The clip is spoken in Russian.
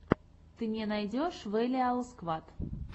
ты мне найдешь вэлиал сквад